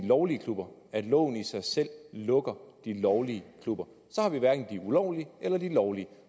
lovlige klubber at loven i sig selv lukker de lovlige klubber så har vi hverken de ulovlige eller de lovlige